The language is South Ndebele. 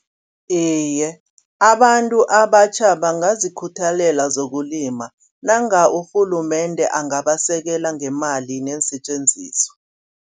Iye abantu abatjha bangazikhuthalela zokulima, nange urhulumende angabasekela ngeemali neensetjenziswa.